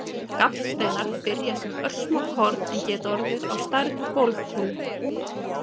Gallsteinar byrja sem örsmá korn en geta orðið á stærð við golfkúlu.